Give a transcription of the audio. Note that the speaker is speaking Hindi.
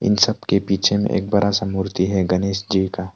इन सब के पीछे में एक बड़ा सा मूर्ति है गणेश जी का।